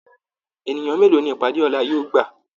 Ènìyàn mélòó ní ìpàdé ọlá yóò gbà?